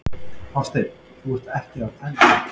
Hafsteinn: Þú ert ekki að telja?